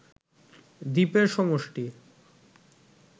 দ্বীপের সমষ্টি